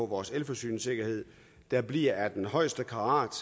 vores elforsyningssikkerhed der bliver af den højeste karat